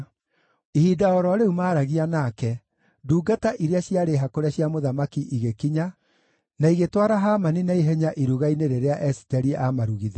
Ihinda o ro rĩu maaragia nake, ndungata iria ciarĩ hakũre cia mũthamaki igĩkinya, na igĩtwara Hamani na ihenya iruga-inĩ rĩrĩa Esiteri aamarugithĩirie.